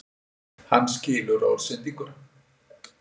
Hann skilur orðsendinguna.